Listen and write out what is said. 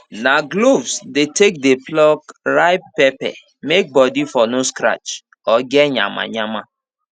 na gloves dey take dey pluck ripe pepper may body for no scratch or get nyamanyama